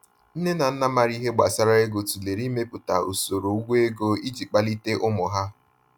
Nne na nna maara ihe gbasara ego tụlere imepụta usoro ụgwọ ego iji kpalite ụmụ ha.